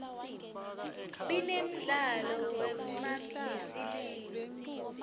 binemdlalo wefmabhlyisiluu